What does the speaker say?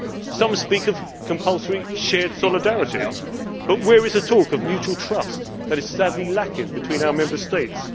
Some speak of compulsory shared solidarity, but where is the talk of mutual trust that is sadly lacking between our Member States?